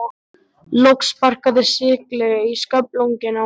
Loks sparkaði Silli í sköflunginn á honum.